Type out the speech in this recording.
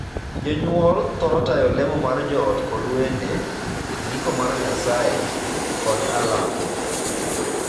Jonyuol thoro tayo lemo mar joot kod wende, ndiko mar Nyasaye, kod alam.